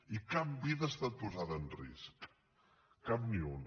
i cap vida ha estat posada en risc cap ni una